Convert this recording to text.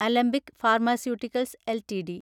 Alembic pharmaceuticals LTD